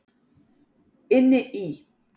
Inni í